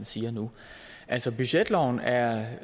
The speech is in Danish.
siger nu altså budgetloven er